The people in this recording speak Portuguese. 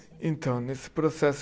Então, nesse processo